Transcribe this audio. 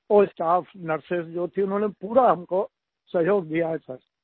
जो staff nurses थी उन्होंने पूरा हमको सहयोग दिया है सिर